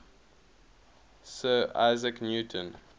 sir isaac newton